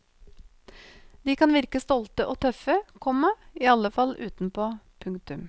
De kan virke stolte og tøffe, komma i alle fall utenpå. punktum